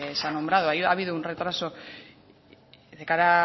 se ha nombrado ha habido un retraso de cara a